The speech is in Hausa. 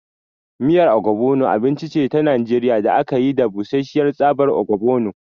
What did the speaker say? Miyar Ogbono abinci ce ta Najeriya da aka yi da busasshiyar tsabar ogbono.